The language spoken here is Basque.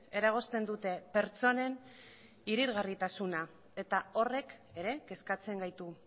eragozten dute pertsonen irisgarritasuna eta horrek ere kezkatzen gaitu